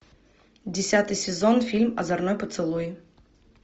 десятый сезон фильм озорной поцелуй